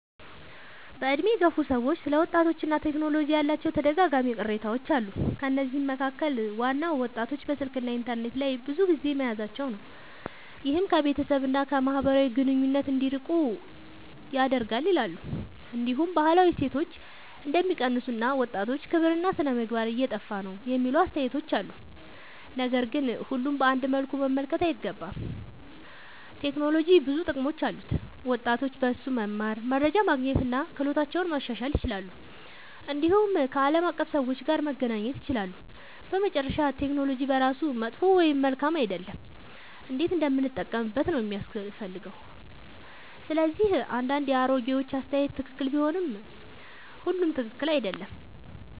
በዕድሜ የገፉ ሰዎች ስለ ወጣቶችና ቴክኖሎጂ ያላቸው ተደጋጋሚ ቅሬታዎች አሉ። ከነዚህ መካከል ዋናው ወጣቶች በስልክና በኢንተርኔት ላይ ብዙ ጊዜ መያዛቸው ነው፤ ይህም ከቤተሰብ እና ከማህበራዊ ግንኙነት እንዲርቁ ያደርጋል ይላሉ። እንዲሁም ባህላዊ እሴቶች እንደሚቀንሱ እና ወጣቶች ክብርና ሥነ-ምግባር እየጠፋ ነው የሚሉ አስተያየቶች አሉ። ነገር ግን ሁሉንም በአንድ መልኩ መመልከት አይገባም። ቴክኖሎጂ ብዙ ጥቅሞች አሉት፤ ወጣቶች በእርሱ መማር፣ መረጃ ማግኘት እና ክህሎታቸውን ማሻሻል ይችላሉ። እንዲሁም ከዓለም አቀፍ ሰዎች ጋር መገናኘት ይችላሉ። በመጨረሻ ቴክኖሎጂ በራሱ መጥፎ ወይም መልካም አይደለም፤ እንዴት እንደምንጠቀምበት ነው የሚያስፈልገው። ስለዚህ አንዳንድ የአሮጌዎች አስተያየት ትክክል ቢሆንም ሁሉም ትክክል አይደለም።